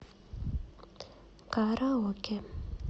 караоке